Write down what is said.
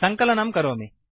सङ्कलनं करोमि